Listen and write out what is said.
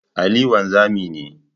Ali wanzami ne.